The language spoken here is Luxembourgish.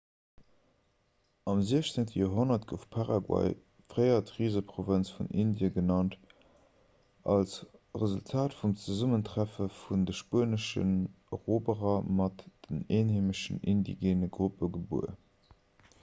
am 16 joerhonnert gouf paraguay fréier d'riseprovënz vun indie genannt als resultat vum zesummentreffe vun de spueneschen eroberer mat den eenheemeschen indigeene gruppe gebuer